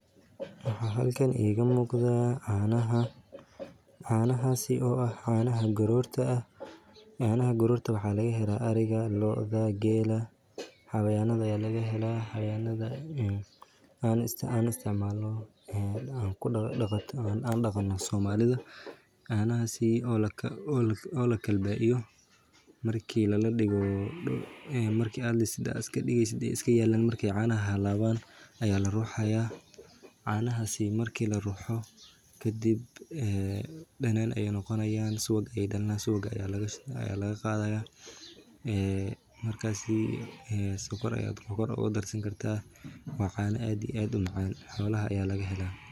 Waxaa halkan iiga muuqda canaha oo ah canaha garoorta waxaa laga helaa ariga looda geela xawayanaha la daqdo ayaa laga helaa markeey canaha halabaan ayaa la ruxaa kadib subag ayaa dalanaaya kadib sokor Aya kudarsan kartaa waa macaan xolaha ayaa laga helaa.